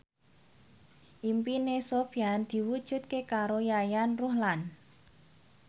impine Sofyan diwujudke karo Yayan Ruhlan